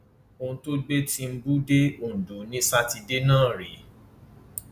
ohun tó gbé tìǹbù dé ondo ni sátidé náà rèé